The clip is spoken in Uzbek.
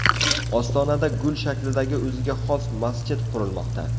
Ostonada gul shaklidagi o‘ziga xos masjid qurilmoqda .